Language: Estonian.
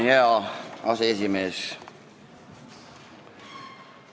Hea aseesimees!